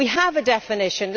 We have a definition.